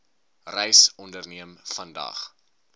reis onderneem vandag